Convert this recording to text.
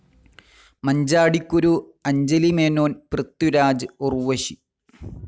Manjadikuru Anjali Menon Prithviraj, Urvashi